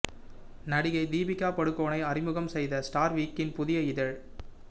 நடிகை தீபிகா படுகோனே அறிமுகம் செய்த ஸ்டார் வீக்கின் புதிய இதழ்